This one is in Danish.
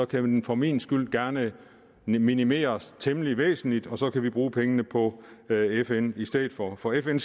kan den for min skyld gerne minimeres temmelig væsentligt og så kan vi bruge pengene på fn i stedet for for fn